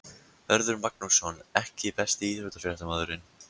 Hörður Magnússon EKKI besti íþróttafréttamaðurinn?